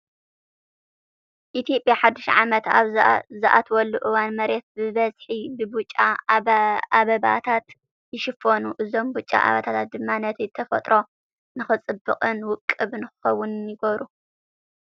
ኢትዮጵያ ሓዱሽ ዓመት ኣብ ዝኣትወሉ እዋን መሬት ብበዝሒ ብብጫ ኣበባታት ይሽፈኑ። እዞም ብጫ ኣበባታት ድማ ነቲ ተፈጥሮ ንክፅብቅን ውቁብ ንክኸውንን ይገብሮ።